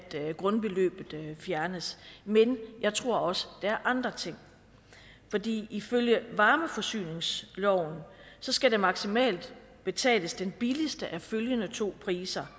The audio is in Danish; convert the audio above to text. grundbeløbet fjernes men jeg tror også der er andre ting fordi ifølge varmeforsyningsloven skal der maksimalt betales den billigste af følgende to priser